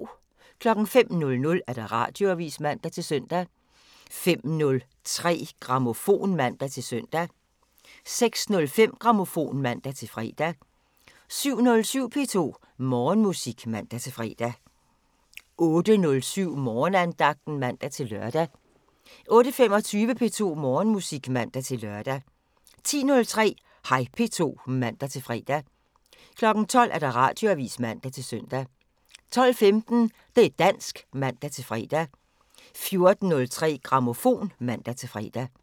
05:00: Radioavisen (man-søn) 05:03: Grammofon (man-søn) 06:05: Grammofon (man-fre) 07:07: P2 Morgenmusik (man-fre) 08:07: Morgenandagten (man-lør) 08:25: P2 Morgenmusik (man-lør) 10:03: Hej P2 (man-fre) 12:00: Radioavisen (man-søn) 12:15: Det' dansk (man-fre) 14:03: Grammofon (man-fre)